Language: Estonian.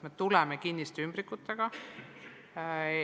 Tegu on kinniste ümbrikutega.